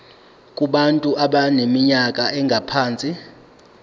kubantu abaneminyaka engaphansi